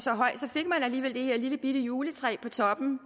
fik man alligevel det her lillebitte juletræ på toppen